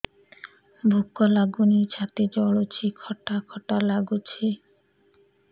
ଭୁକ ଲାଗୁନି ଛାତି ଜଳୁଛି ଖଟା ଖଟା ଲାଗୁଛି